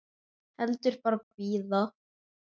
Heldur bara bíða.